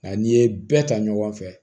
Nka n'i ye bɛɛ ta ɲɔgɔn fɛ